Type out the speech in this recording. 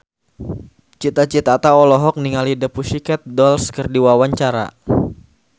Cita Citata olohok ningali The Pussycat Dolls keur diwawancara